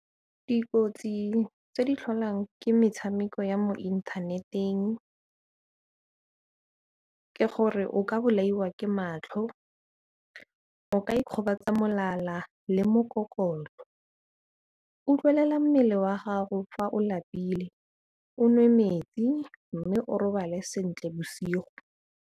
Dikotsi tse di tlholang ke metshameko ya mo inthaneteng ke gore o ka bolaiwa ke matlho, o ka ikgobatsa molala le mo gore kolo. Utlwelela mmele wa gago fa o lapile, o nwe metsi mme o robale sentle bosigo.